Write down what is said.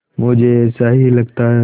मुझे ऐसा ही लगता है